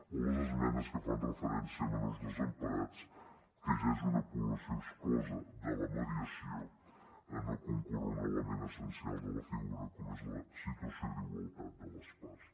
o les esmenes que fan referència a menors desemparats que ja és una població exclosa de la mediació en no concórrer hi un element essencial de la figura com és la situació d’igualtat de les parts